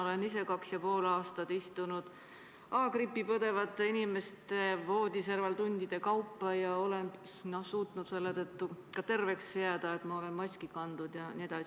Olen ise kaks ja pool aastat tundide kaupa istunud A-grippi põdevate inimeste voodiserval ja suutnud terveks jääda seetõttu, et olen maski kandnud.